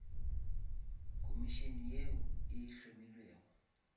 komišene yeo e hlomilwego